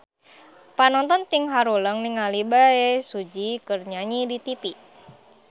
Panonton ting haruleng ningali Bae Su Ji keur nyanyi di tipi